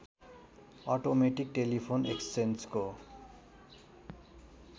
automatic telephone एक्सचेन्जको